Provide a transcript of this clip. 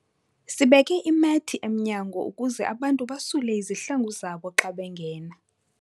Sibeke imethi emnyango ukuze abantu basule izihlangu zabo xa bengena.